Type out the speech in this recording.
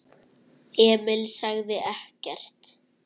Emil sagði ekkert.